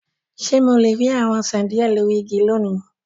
Ṣe Mo le ri awọn osan diẹ lori igi loni?